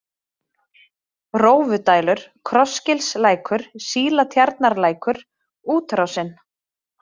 Rófudælur, Krossgilslækur, Sílatjarnarlækur, Útrásin